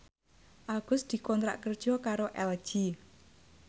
Agus dikontrak kerja karo LG